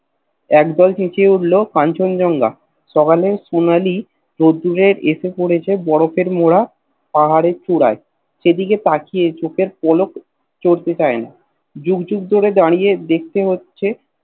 একদল চেচিয়ে উঠল কাঞ্চন জঙ্গা সকালে সোনালী রোদ্দুরে এসে পড়েছে বরফের মড়া পাহাড়ের চূড়ায় সেদিকে তাকিয়ে চোখের পলক পড়তে চায়না যুগ যুগ ধরে দাড়িয়ে দেখতে হচ্ছে